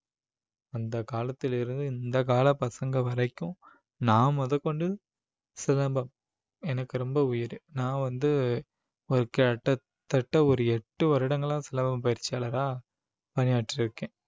அந்த காலத்திலிருந்து இந்த கால பசங்க வரைக்கும் நான் முதற்கொண்டு சிலம்பம் எனக்கு ரொம்ப உயிர் நான் வந்து ஒரு கிட்டத்தட்ட ஒரு எட்டு வருடங்களா சிலம்பம் பயிற்சியாளரா பணியாற்றி இருக்கேன்